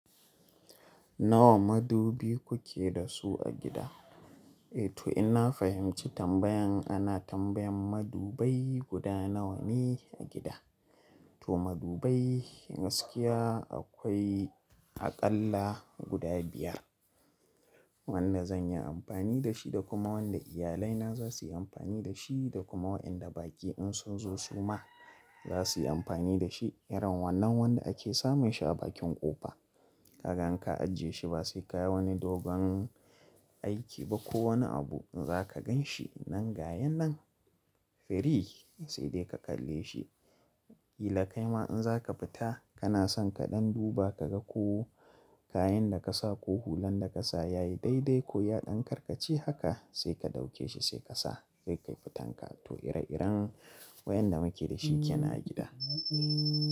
Nawa madubi kuke da su a gida? Eh to ina fahimci tambayan ana tambayan madubai guda nawa ne a gida. To madubai gaskiya akwai aƙalla guda biyar wanda zanyi amfani da shi da kuma wanda iyalina zasuyi amfani da shi da kuma waɗanda baƙi in sunzo suma zasuyi amfani da shi irin wannan wanda ake same shi a bakin ƙofa. Kaga in ka ajiye shi ba sai ka yi wani dogon aiki ba ko wani abu in zaka gan shi nan ga yan nan free sai dai ka ƙalle shi. Ilakai ma in zaka fita kana son ka ɗan duba ka ga ko kayan da kasa ko hulan da kasa yayi daidai ko ya ɗan karkace haka sai ka ɗauke shi sai kasa. Sai ka fita haka to ire iren waɗanda muke da shi yana a gida.